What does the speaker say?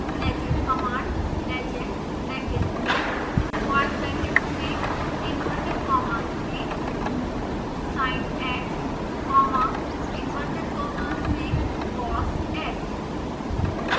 legend command legend brackets में square brackets में inverted commas में sinx comma inside inverted commas cosx